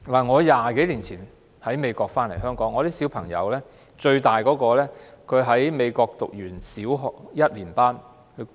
我20多年前由美國回港，我最大的孩子當時在美國唸完小學一年級。